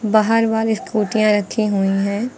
बाहर वाली स्कूटीयां रखी हुई है।